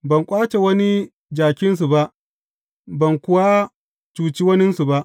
Ban ƙwace wani jakinsu ba, ban kuwa cuce waninsu ba.